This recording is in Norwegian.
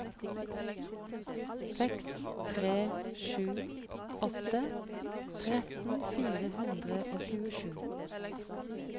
seks tre sju åtte tretten fire hundre og tjuesju